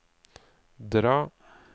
dra